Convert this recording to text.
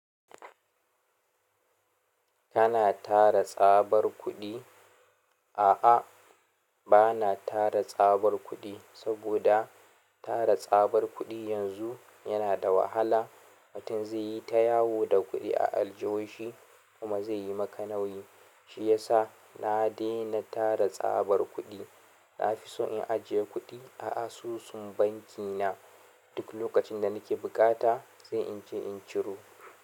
Kana tara tsabar kuɗi? A'a, ba na tara tsabar kuɗi saboda tara tsabar kuɗi yanzu yana da wahala. Mutum zai yi ta yawo da kuɗi a aljihu shi kuma zai yi maka nauyi. Shi ya sa na daina tara tsabar kuɗi. Na fi so in ajiye kuɗi a asusun banki na. Duk lokacin da nake bukata sai in je in ciro.